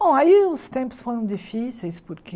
Bom, aí os tempos foram difíceis, porque...